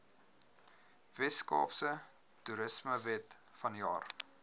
weskaapse toerismewet vanjaar